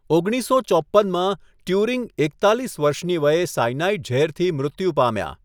ઓગણીસસો ચોપ્પનમાં, ટ્યુરિંગ એકતાલીસ વર્ષની વયે સાઇનાઇડ ઝેરથી મૃત્યુ પામ્યા.